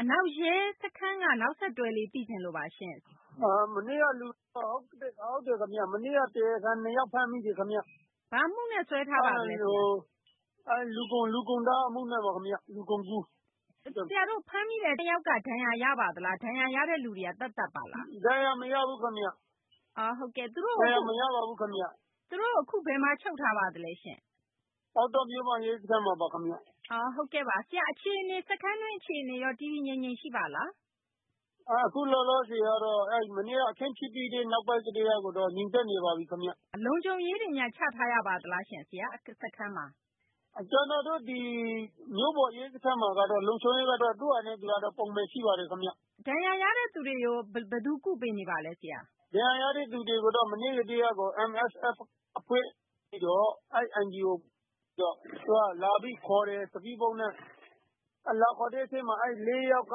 အနောက်ရဲ စခန်းက နောက်ဆက်တွဲ အခြေအနေ သိချင်လို့ပါရှင့်။ ဟုတ်ကဲ့ ခင်ဗျ။ မနေ့က တရားခံ နှစ်ယောက် ဖမ်းမိတယ် ခင်ဗျ။ ဘာအမှုနဲ့ စွဲထားပါသလဲ။ လူကုန်တား အမှုနဲ့ ခင်ဗျ။ လူကုန်ကူး။ ဆရာတို့ ဖမ်းမိတဲ့ နှစ်ယောက်က ဒဏ်ရာ ရပါသလား။ ဒဏ်ရာရတဲ့သူတွေက သပ်သပ်ပါလား။ ဒဏ်ရာ မရဘူးခင်ဗျ။ ဒဏ်ရာ မရပါဘူး ခင်ဗျ။ သူတို့ကို အခု ဘယ်မှာ ချုပ်ထားပါသလဲရှင့်။ ပေါက်တော မြို့မ ရဲစခန်းမှာပါ။ စခန်းတွင်း အခြေအနေရော တည်တည်ငြိမ်ငြိမ် ရှိပါလား။ အခု လောလောဆယ်ကတော့ မနေ့က အခင်းဖြစ်ပြီးတဲ့ နောက်ပိုင်းကတည်းကတော့ ငြိမ်သက်နေပါပြီ ခင်ဗျ။ လုံခြုံရေးတွေများ ချထားရပါသလားရှင့် ဆရာ။ စခန်းမှာ။ ကျနော်တို့ ဒီ မြို့ပေါ် ရဲစခန်းမှာတော့ သူ့ဟာနဲ့သူကတော့ ပုံမှန် ရှိပါတယ်ခင်ဗျ။ ဒဏ်ရာရတဲ့သူတွေကို ဘယ်သူ ကုပေးနေပါသလဲ ဆရာ။ ဒဏ်ရာရတဲ့ သူတွေကိုတော့ မနေ့ကတည်းကကို MSF အဖွဲ့ကနေပြီးတော့ အဲဒီ NGO က လာပြီးခေါ်တယ် Speed Boat နဲ့။ လာပြီး ခေါ်တဲ့ အထဲမှာ အဲဒီ ၄ ယောက်က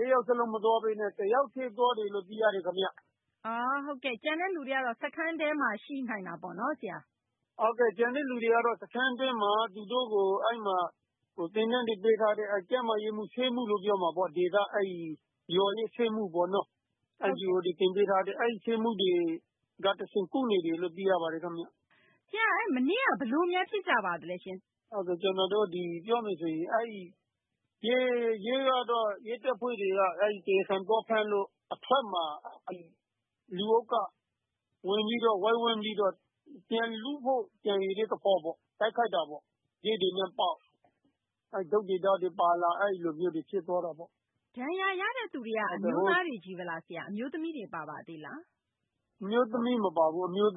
၄ ယောက် စလုံး မသွားဘဲနဲ့ တယောက်တည်း သွားတယ်လို့ သိရတယ် ခင်ဗျ။ ဟုတ်ကဲ့။ ကျန်တဲ့သူတွေကတော့ စခန်းထဲမှာ ရှိနိုင်တာပေါ့နော်။ ဟုတ်ကဲ့။ ကျန်တဲ့သူတွေကတော့ စခန်းတွင်းမှာ သူတို့ကို အဲဒီမှာ သင်တန်းတွေ ပေးထားတဲ့ ကျန်းမာရေးမှူး၊ ဆေးမှူးလို့ ပြောမှာပေါ့ ဒေသ အဲဒီ ရွာရဲ့ ဆေးမှူးပေါ့နော် NGO တွေ သင်ပေးထားတဲ့ အဲဒီ ဆေးမှူးတွေက တဆင့် ကုနေတယ်လို့ သိရပါတယ် ခင်ဗျ။ ဆရာ မနေ့က ဘယ်လိုများ ဖြစ်ကြပါသလဲရှင့်။ ရဲတပ်ဖွဲ့က အဲဒီ တရားခံ သွားဖမ်းလို့ အထွက်မှာ လူအုပ်က ဝင်ပြီးတော့ ဝိုင်းဝန်းပြီးတော့ ပြန်လုဖို့ ကြံရွယ်တဲ့ သဘောပေါ့။ တိုက်ခိုက်တာပေါ့။ ခဲတွေနဲ့ပေါက်။ တုတ်တွေ ဓားတွေ ပါလာ အဲဒီလိုမျိုးတွေ ဖြစ်သွားတာပေါ့။ ဒဏ်ရာရတဲ့သူတွေက အမျိုးသားတွေ ချည်းဘဲလား၊ အမျိုးသမီးတွေ ပါပါသေးလား။ အမျိုးသမီးတွေ မပါဘူး။ အမျိုးသ